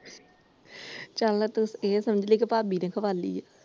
ਚੱਲ ਤੂੰ ਇਹ ਸਮਝਲੀ ਭਾਬੀ ਨੇ ਖਵਾਈ ਏ ।